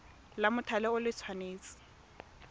la mothale o le tshwanetse